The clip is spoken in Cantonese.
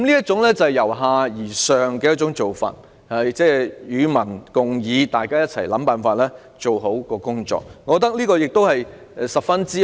這種由下而上與民共議、共同想辦法做好工作的做法，我認為十分美好。